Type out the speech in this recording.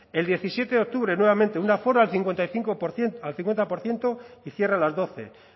el diecisiete octubre nuevamente un aforo al cincuenta por ciento y cierre a las doce